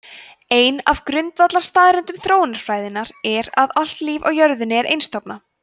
ein af grundvallarstaðreyndum þróunarfræðinnar er að allt líf á jörðinni er einstofna